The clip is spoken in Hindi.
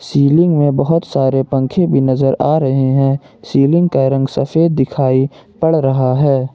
सीलिंग में बहुत सारे पंखे भी नजर आ रहे हैं सीलिंग का रंग सफेद दिखाई पड़ रहा है।